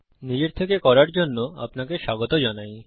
নিজের থেকে কাজের জন্য আপনাকে স্বাগত জানাই